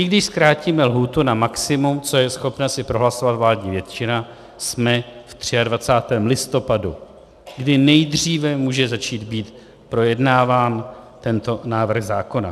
I když zkrátíme lhůtu na maximum, což je schopna si prohlasovat vládní většina, jsme v 23. listopadu, kdy nejdříve může začít být projednáván tento návrh zákona.